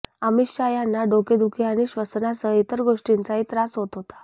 अमित शाह यांना डोकेदुखी आणि श्वसनासह इतर गोष्टींचाही त्रास होत होता